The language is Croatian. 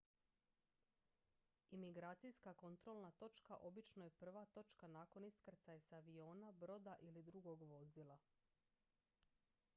imigracijska kontrolna točka obično je prva točka nakon iskrcaja s aviona broda ili drugog vozila